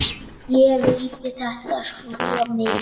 Ég vildi þetta svo mikið.